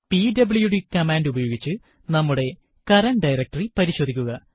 PWD command ഉപയോഗിച്ച് നമ്മുടെ current directory പരിശോധിക്കുക